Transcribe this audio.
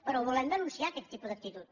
però volem denunciar aquest tipus d’actitud